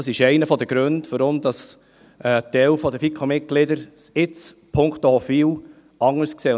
Dies ist einer der Gründe, weshalb ein Teil der FiKo-Mitglieder es nun punkto Hofwil anders sieht.